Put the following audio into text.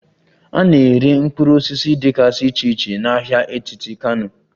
A na-ere mkpụrụ osisi dịgasị iche iche na ahịa etiti Kano